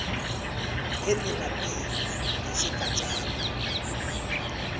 ngendima b yesigatjana